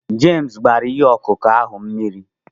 Jemes gbara ihe ọkụkụ ahụ mmiri